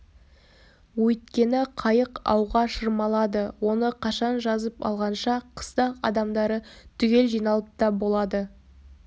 өйткені қайық ауға шырмалады оны қашан жазып алғанша қыстақ адамдары түгел жиналып та болады